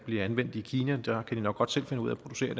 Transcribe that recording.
bliver anvendt i kina der kan de nok godt selv finde ud af at producere